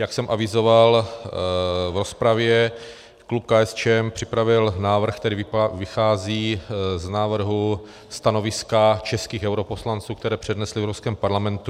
Jak jsem avizoval v rozpravě, klub KSČM připravil návrh, který vychází z návrhu stanoviska českých europoslanců, které přednesli v Evropském parlamentu.